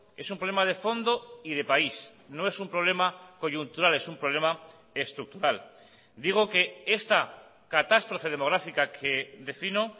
es un problema de fondo y de país no es un problema coyuntural es un problema estructural digo que esta catástrofe demográfica que defino